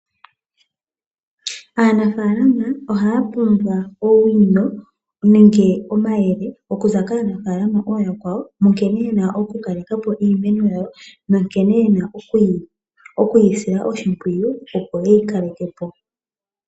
Aanafalama ohaya pumbwa owino nenge omayele okuza kaanafalama aakwawo monkene yena okukalekapo iimeno yawo nonkene yena okuyi silla shimpwiyu opo yeyi kalekepo.